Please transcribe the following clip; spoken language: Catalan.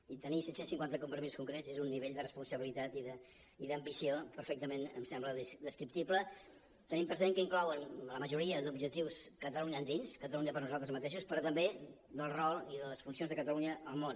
i tenir set cents i cinquanta compromisos concrets és un nivell de responsabilitat i d’ambició perfectament em sembla descriptible tenint present que inclouen la majoria d’objectius catalunya endins catalunya per nosaltres mateixos però també del rol i de les funcions de catalunya al món